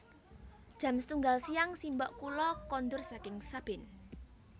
Jam setunggal siang simbok kula kondur saking sabin